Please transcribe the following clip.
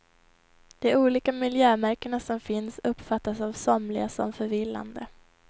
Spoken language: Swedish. De olika miljömärkena som finns uppfattas av somliga som förvillande.